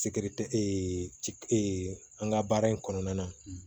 Sikiri tɛ ci e ka baara in kɔnɔna na